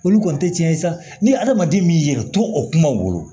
Olu kɔni tɛ tiɲɛ ye sa ni hadamaden y'i yɛrɛ to o kumaw wolo